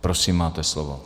Prosím, máte slovo.